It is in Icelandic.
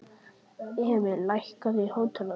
Emil, lækkaðu í hátalaranum.